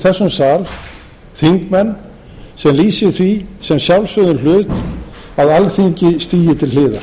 þessum sal þingmenn sem lýsi því sem sjálfsögðum hlut að alþingi stigi til hliðar